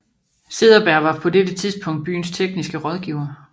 Cederberg var på dette tidspunkt byens tekniske rådgiver